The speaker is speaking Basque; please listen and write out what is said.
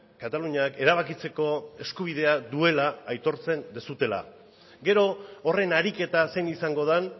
kataluniak erabakitzeko eskubidea duela aitortzen duzuela gero horren ariketa zein izango den